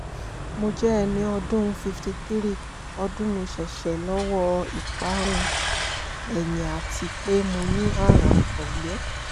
mo jẹ ẹni ọdún fifty three ọdún mo ṣẹ̀ṣẹ̀ lọ́wọ́ ìparun-ẹ̀yìn àti pé mo ní àrùn àtọ́gbẹ